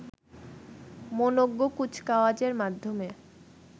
মনোজ্ঞ কুচকাওয়াজের মাধ্যমে